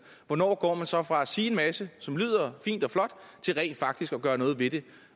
hvornår går man så fra at sige en masse som lyder fint og flot til rent faktisk at gøre noget ved det